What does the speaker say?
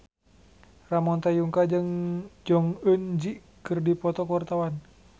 Ramon T. Yungka jeung Jong Eun Ji keur dipoto ku wartawan